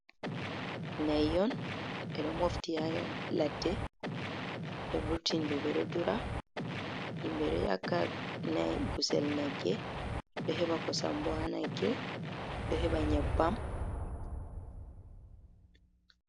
Na'i on ɓeɗo mofti ha ladde ɓe vurtini ɗi ɗiɗo dura himɓe ɗo yaka nai gusel nagge, ɗo heɓa kosam bo ha nagge, ɗo heba nyebbam.